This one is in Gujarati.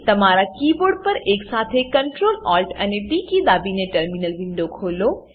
તમારા કીબોર્ડ પરએકસાથે Ctrl Alt અને ટી કી દબાવીને ટર્મિનલ વિન્ડો ખોલો